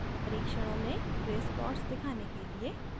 परीक्षणों में grace plots दिखाने के लिए